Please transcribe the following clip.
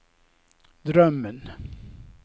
drömmen